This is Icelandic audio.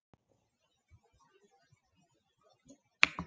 Svoleiðis var það bara.